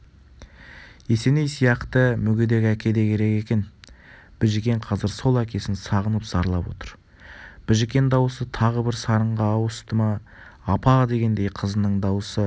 есеней сияқты мүгедек әке де керек екен біжікен қазір сол әкесін сағынып зарлап отыр біжікен даусы тағы бір сарынға ауыстыапа дегендей қызының даусы апа